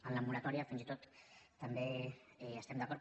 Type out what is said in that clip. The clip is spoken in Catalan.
en la moratòria fins i tot també hi estem d’acord